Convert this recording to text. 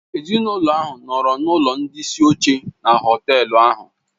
Ezinụlọ ahụ nọọrọ n'ụlọ ndị isi oche na họtel ahụ.